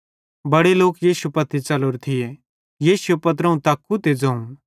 बड़े लोक यीशु पत्ती च़लोरे थिये यीशुए पत्रोवं तक्कू ते ज़ोवं